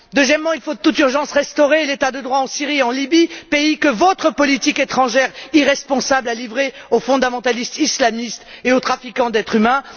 Deuxièmement, il faut de toute urgence restaurer l'état de droit en Syrie et en Libye, pays que votre politique étrangère irresponsable a livrés aux fondamentalistes islamistes et aux trafiquants d'êtres humains.